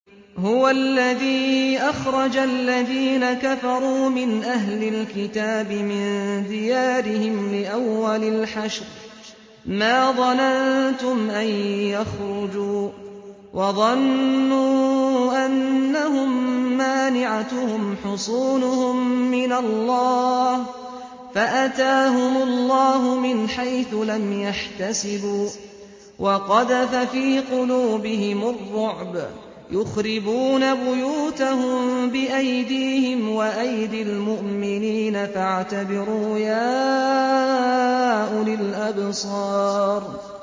هُوَ الَّذِي أَخْرَجَ الَّذِينَ كَفَرُوا مِنْ أَهْلِ الْكِتَابِ مِن دِيَارِهِمْ لِأَوَّلِ الْحَشْرِ ۚ مَا ظَنَنتُمْ أَن يَخْرُجُوا ۖ وَظَنُّوا أَنَّهُم مَّانِعَتُهُمْ حُصُونُهُم مِّنَ اللَّهِ فَأَتَاهُمُ اللَّهُ مِنْ حَيْثُ لَمْ يَحْتَسِبُوا ۖ وَقَذَفَ فِي قُلُوبِهِمُ الرُّعْبَ ۚ يُخْرِبُونَ بُيُوتَهُم بِأَيْدِيهِمْ وَأَيْدِي الْمُؤْمِنِينَ فَاعْتَبِرُوا يَا أُولِي الْأَبْصَارِ